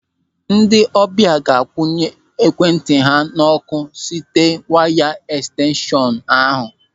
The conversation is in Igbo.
Ndị ọbịa ga-akwụnye ekwentị ha n'ọ́kụ́ site waya ẹkstenshọn ahụ.